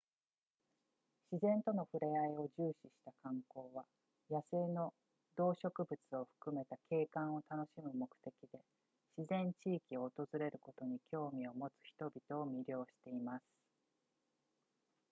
自然との触れあいを重視した観光は野生の動植物を含めた景観を楽しむ目的で自然地域を訪れることに興味を持つ人々を魅了しています